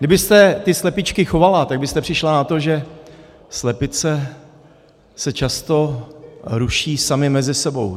Kdybyste ty slepičky chovala, tak byste přišla na to, že slepice se často ruší samy mezi sebou.